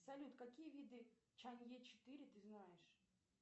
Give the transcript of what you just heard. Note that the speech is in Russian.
салют какие виды чанье четыре ты знаешь